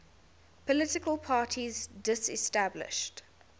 political parties disestablished